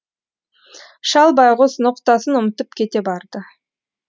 шал байғүс ноқтасын ұмытып кете барды